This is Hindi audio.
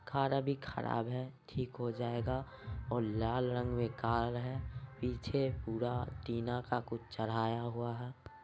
खाना भी खराब है ठीक हो जाएगा और लाल रंग मे कार है पीछे पूरा टीना का कुछ चराया हुआ है।